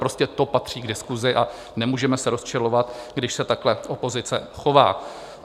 Prostě to patří k diskusi a nemůžeme se rozčilovat, když se takhle opozice chová.